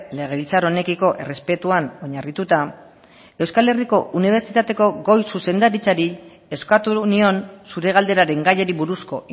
legebiltzar honekiko errespetuan oinarrituta euskal herriko unibertsitateko goi zuzendaritzari eskatu nion zure galderaren gaiari buruzko